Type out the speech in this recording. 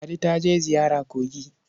Ladi ta je ziyara kogi.